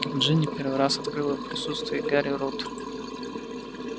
джинни первый раз открыла в присутствии гарри рот